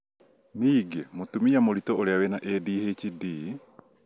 ningĩ, mũtumia mũritũ ũrĩa wĩna ADHD,